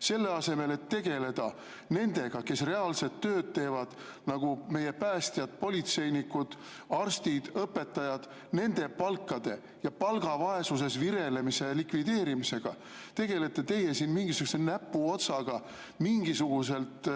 Selle asemel, et tegeleda nendega, kes reaalset tööd teevad, nagu meie päästjad, politseinikud, arstid, õpetajad, nende palkadega, nende palgavaesuses virelemise likvideerimisega, tegelete teie mingisuguse näpuotsaga mingisuguselt